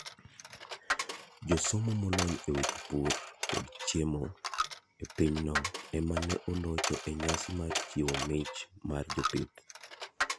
Jasomo molony e weche pur kod chiemo e pinyno ema ne olocho e nyasi mar chiwo mich mar jopith.